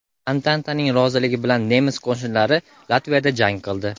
Antantaning roziligi bilan nemis qo‘shinlari Latviyada jang qildi.